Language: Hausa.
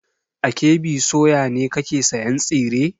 A KB soya ne kake sayan tsire?